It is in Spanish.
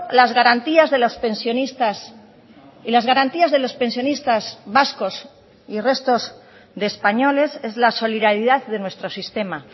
las garantías de los pensionistas y las garantías de los pensionistas vascos y restos de españoles es la solidaridad de nuestro sistema